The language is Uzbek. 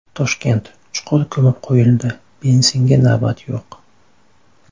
Toshkent: chuqur ko‘mib qo‘yildi, benzinga navbat yo‘q.